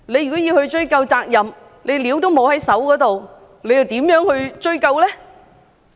如要追究責任但卻沒有資料在手，又如何追究呢？